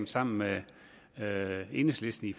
sammen med enhedslisten i